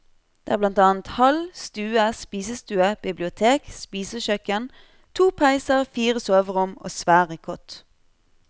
Det har blant annet hall, stue, spisestue, bibliotek, spisekjøkken, to peiser, fire soverom og svære kott.